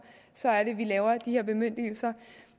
laver vi de her bemyndigelser